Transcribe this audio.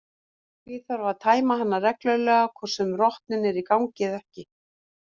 Því þarf að tæma hana reglulega hvort sem rotnun er í gangi eða ekki.